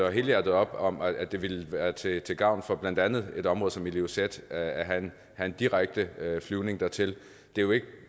helhjertet op om at det ville være til til gavn for blandt andet et område som ilulissat at have direkte flyvning dertil det er jo